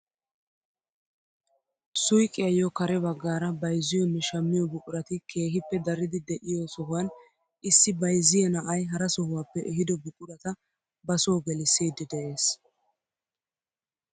Suyqiyaayo kare baggaara bayzziyonne shammiyoo buqurati keehippe daridi de'iyoo sohuwaan issi bayzziyaa na'ay hara sohuwappe eehido buqurata ba soo geliisidi de'ees!